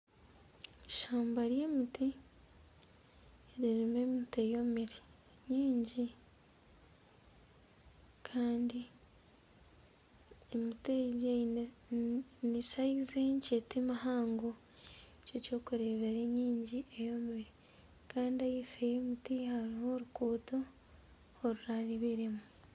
Ishamba ry'emiti ririmu emiti eyomire mingi kandi emiti egi ni sayizi nkye ti mihango nikyo orikureebera emingi eyomire kandi ahaifo y'emiti hariho oruguuto orurabiremu.